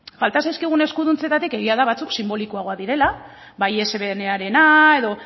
falta zaizkigun eskuduntzetatik egia da batzuk sinbolikoagoak direla bai edo